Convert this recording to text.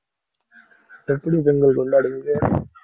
எப்படி பொங்கல் கொண்டாடுவீங்க.